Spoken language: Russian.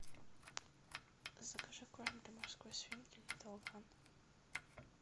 закажи корм для морской свинки литл ван